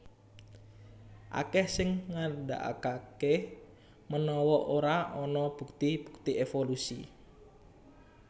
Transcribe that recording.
Akèh sing ngandhakaké menawa ora ana bukti bukti évolusi